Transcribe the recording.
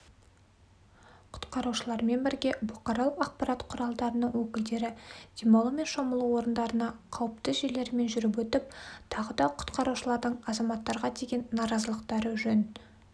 құтқарушылармен бірге бұқаралық ақпарат құралдарының өкілдері демалу мен шомылу орындарына қауіпті жерлермен жүріп өтіп тағы да құтқарушылардың азаматтарға деген наразылықтары жөн